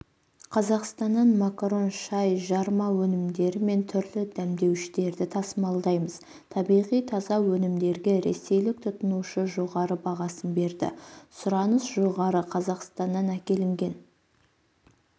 қазақстаннан макарон шай жарма өнімдері мен түрлі дәмдеуіштерді тасымалдаймыз табиғи таза өнімдерге ресейлік тұтынушы жоғары бағасын берді сұраныс жоғары қазақстаннан әкелінген